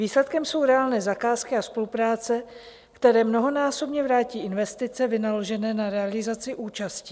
Výsledkem jsou reálné zakázky a spolupráce, které mnohonásobně vrátí investice vynaložené na realizaci účastí.